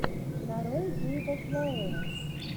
нарой гейба флауэр